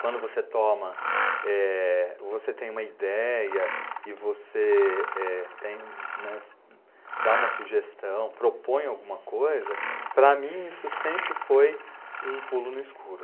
Quando você toma, eh, você tem uma ideia e você eh, tem, né, dá uma sugestão, propõe alguma coisa, para mim isso sempre foi um pulo no escuro.